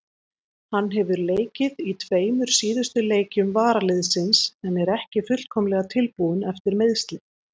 Hann hefur leikið í tveimur síðustu leikjum varaliðsins en er ekki fullkomlega tilbúinn eftir meiðsli.